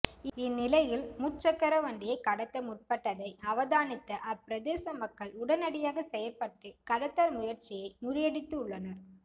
இந்நிலையில் முச்சக்கரவண்டியை கடத்த முற்பட்டதை அவதானித்த அப்பிரதேச மக்கள் உடனடியாக செயற்பட்டு கடத்தல் முயற்சியை முறியடித்துள்ளனர்